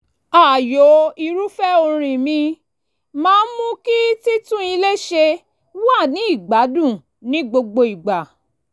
ààyò irúfẹ́ orin mi máa ń mú kí títún ilé ṣe wà ní ìgbádùn ní gbogbo ìgbà